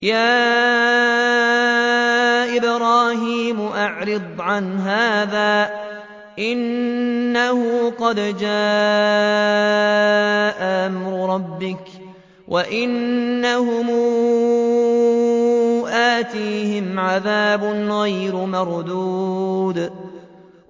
يَا إِبْرَاهِيمُ أَعْرِضْ عَنْ هَٰذَا ۖ إِنَّهُ قَدْ جَاءَ أَمْرُ رَبِّكَ ۖ وَإِنَّهُمْ آتِيهِمْ عَذَابٌ غَيْرُ مَرْدُودٍ